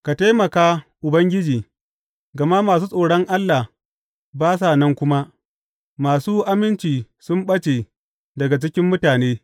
Ka taimaka, Ubangiji, gama masu tsoron Allah ba sa nan kuma; masu aminci sun ɓace daga cikin mutane.